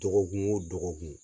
Dɔgɔkun o dɔgɔkun.